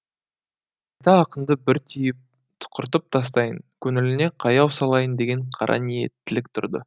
қайта ақынды бір түйіп тұқыртып тастайын көңіліне қаяу салайын деген қараниеттілік тұрды